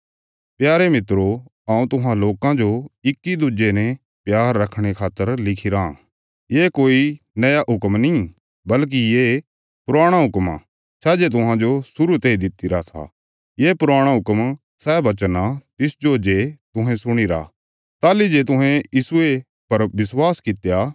प्यारे मित्रो हऊँ तुहां लोकां जो इक्की दुज्जे ने प्यार रखणे खातर लिखिराँ ये कोई नया हुक्म नीं बल्कि ये पुराणा हुक्म आ सै जे तुहांजो शुरु तेई दित्तिरा था ये पुराणा हुक्म सै वचन आ तिसजो जे तुहें सुणीरा ताहली जे तुहें यीशुये पर विश्वास कित्या